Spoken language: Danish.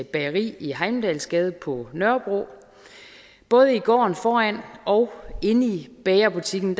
bageri i heimdalsgade på nørrebro både i gården foran og inde i bagerbutikken